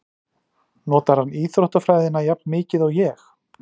Notar hann íþróttafræðina jafn mikið og ég?